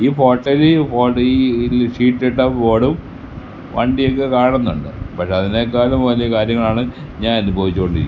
ഈ ഫോട്ടെല് ഇ ഈ ഷീറ്റിട്ട ബോർഡും വണ്ടിയൊക്കെ കാണുന്നുണ്ട് പക്ഷേ അതിനേക്കാൾ വലിയ കാര്യങ്ങളാണ് ഞാൻ അനുഭവിച്ചോണ്ടിരിക്കുന്നത്.